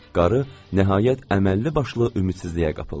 Qarı nəhayət əməlli başlı ümidsizliyə qapıldı.